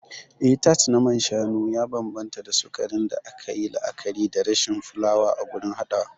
Eh, Tart na man shanu ya bambanta da sukarin da aka yi la'akari da rashin fulawa a gurin haɗawa.